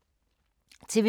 TV 2